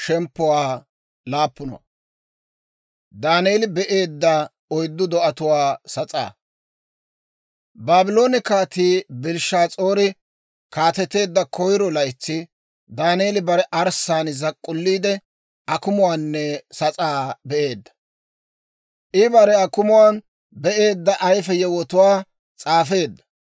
Baabloone Kaatii Belshshaas'aari kaateteedda koyiro laytsi, Daaneeli bare arssaan zak'k'ulliide, akumuwaanne sas'aa be'eedda. I bare akumuwaan be'eedda ayfe yewotuwaa s'aafeedda.